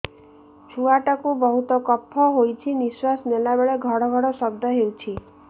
ଛୁଆ ଟା କୁ ବହୁତ କଫ ହୋଇଛି ନିଶ୍ୱାସ ନେଲା ବେଳେ ଘଡ ଘଡ ଶବ୍ଦ ହଉଛି